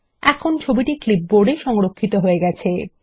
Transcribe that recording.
এখন ছবিটি ক্লিপবোর্ড এ সংরক্ষিত হয়ে গেছে